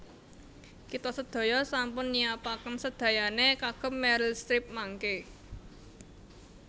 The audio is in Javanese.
Kita sedaya sampun nyiapaken sedayane kagem Meryl Streep mangke